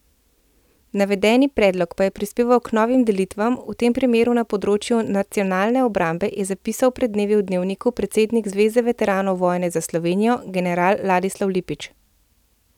Navedeni predlog pa je prispeval k novim delitvam, v tem primeru na področju nacionalne obrambe, je zapisal pred dnevi v Dnevniku predsednik Zveze veteranov vojne za Slovenijo general Ladislav Lipič.